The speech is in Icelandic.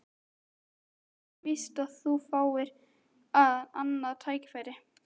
Það er ekkert víst að þú fáir annað tækifæri